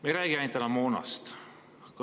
Me ei räägi enam ainult moonast.